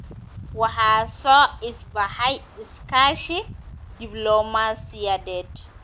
Waxaa soo ifbaxay iskaashi diblomaasiyadeed.